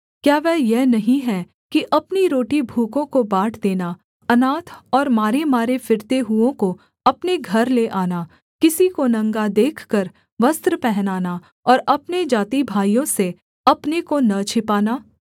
क्या वह यह नहीं है कि अपनी रोटी भूखों को बाँट देना अनाथ और मारेमारे फिरते हुओं को अपने घर ले आना किसी को नंगा देखकर वस्त्र पहनाना और अपने जातिभाइयों से अपने को न छिपाना